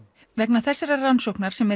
vegna þessarar rannsóknar sem